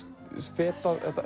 fetað